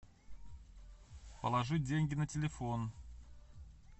положить деньги на телефон